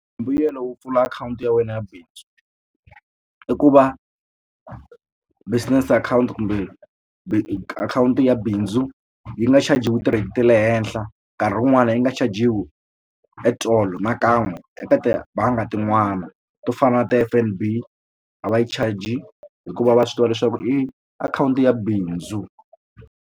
Mbuyelo wo pfula akhawunti ya wena ya bindzu i ku va business akhawunti kumbe akhawunti ya bindzu yi nga chajiwi ti-rate ta le henhla nkarhi wun'wana yi nga chajiwi at all nakan'we eka tibangi tin'wani to fana na ti-F_N_B a va yi charge hikuva va swi tiva leswaku i akhawunti ya bindzu.